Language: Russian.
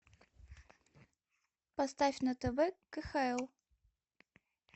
поставь на тв кхл